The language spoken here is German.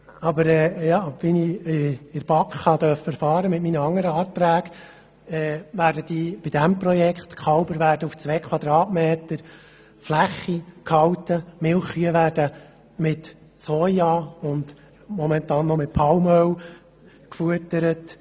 Aber wie ich in der BaK mit meinen anderen Anträgen erfahren durfte, werden bei diesem Projekt die Kälber auf 2 m Fläche gehalten und die Milchkühe werden mit Soja und momentan noch mit Palmöl gefüttert.